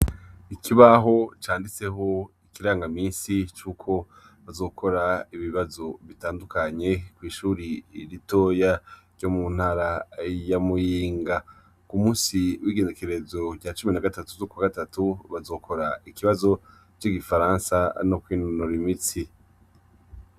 Ikibaho canditseho ikirangaminsi c'uko bazokora ibibazo bitandukanye kw'ishure ritoya ryo mu ntara ya Mugunga . K'umunsi w'igenekerezo rya cumi na gatatu z'ukwa gatatu, bazokora ikibazo c'igifaransa no kwinonora imitsi.